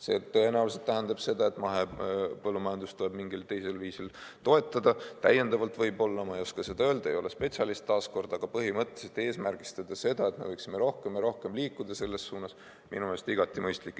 See tõenäoliselt tähendab seda, et mahepõllumajandust tuleb mingil teisel viisil toetada, täiendavalt võib-olla, ma ei oska seda öelda, ei ole spetsialist, taas kord, aga põhimõtteliselt eesmärgistada seda, et me võiksime rohkem ja rohkem liikuda selles suunas – minu meelest igati mõistlik.